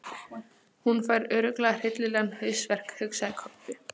Hún fær örugglega hryllilegan hausverk, hugsaði Kobbi.